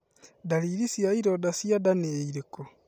Ndariri cia ironda cia nda nĩ irĩkũ?